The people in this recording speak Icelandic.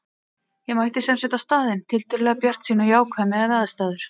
Ég mætti sem sagt á staðinn tiltölulega bjartsýn og jákvæð miðað við aðstæður.